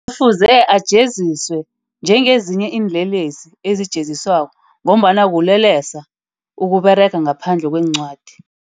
Kufuze ajeziswe. Njengezinye iinlelesi ezijenziswako, ngombana bulelesi ukuberega ngaphandle kweencwadi.